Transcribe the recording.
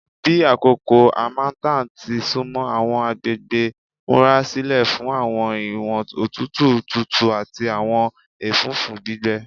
Bi akoko harmattan ti sunmọ, awọn agbegbe n murasilẹ fun awọn iwọn otutu tutu ati awọn ẹfũfu gbigbẹ